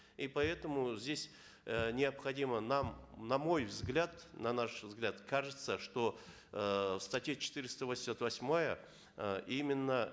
и поэтому здесь э необходимо нам на мой взгляд на наш взгляд кажется что эээ в статье четыреста восемьдесят восьмая э именно